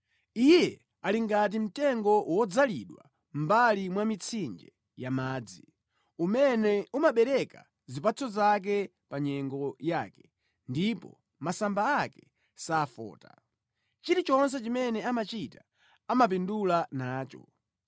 Iye ali ngati mtengo wodzalidwa mʼmbali mwa mitsinje ya madzi, umene umabereka zipatso zake pa nyengo yake ndipo masamba ake safota. Chilichonse chimene amachita amapindula nacho.